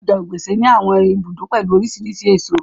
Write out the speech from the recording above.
Ọjà Ogbete ní àwọn ibùdó pẹ̀lú oríṣiríṣi èso.